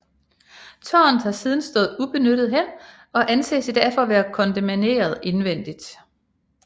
Tårnet har siden stået ubenyttet hen og anses i dag for at være kondemneret indvendigt